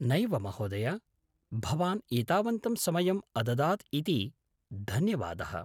नैव महोदय। भवान् एतावन्तं समयम् अददात् इति धन्यवादः।